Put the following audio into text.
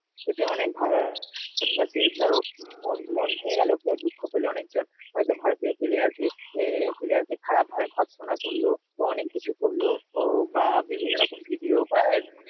এতে অনেক ভারতবাসীর ধর মন মন ভেঙ্গে গেল, কেউ দুঃখ পেল, অনেকজন হয়তো ভারতীয় player কে এ~ player কে খারাপ ভাবে ভৎসনা করলো. তা অনেক কিছু করলো ও বা বিভিন্ন রকম ভিডিও বা এন